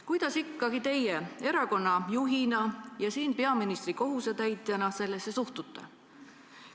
Kuidas ikkagi teie erakonna juhina ja siin peaministri kohusetäitjana sellesse suhtute?